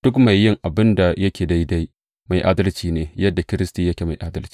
Duk mai yin abin da yake daidai mai adalci ne, yadda Kiristi yake mai adalci.